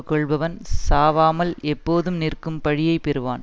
கொள்பவன் சாவாமல் எப்போதும் நிற்கும் பழியை பெறுவான்